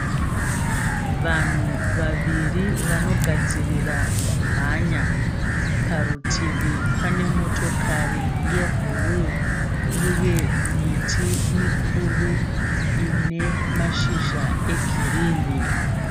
Vanhu vaviviri vanogadzirira kumhanya. Parutivi pane motokari yebhuruu, uye miti mikuru ine mashizha egirinhi.